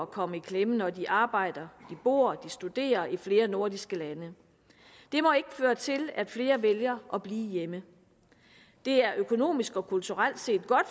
komme i klemme når de arbejder de bor de studerer i flere nordiske lande det må ikke føre til at flere vælger at blive hjemme det er økonomisk og kulturelt set godt